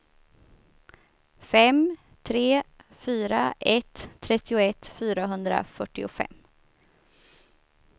fem tre fyra ett trettioett fyrahundrafyrtiofem